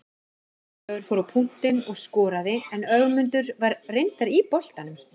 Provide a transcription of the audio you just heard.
Ólafur fór á punktinn og skoraði en Ögmundur var reyndar í boltanum.